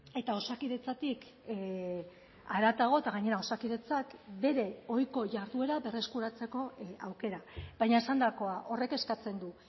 eta osakidetzatik haratago eta gainera osakidetzak bere ohiko jarduera berreskuratzeko aukera baina esandakoa horrek eskatzen du